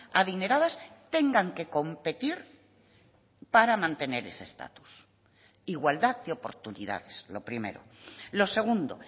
adineradas tengan que competir para mantener ese estatus igualdad de oportunidades lo primero lo segundo